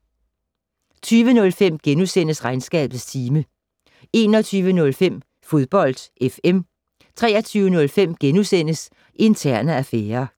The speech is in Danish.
20:05: Regnskabets time * 21:05: Fodbold FM 23:05: Interne affærer *